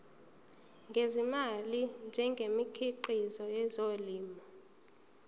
ngezimali ngemikhiqizo yezolimo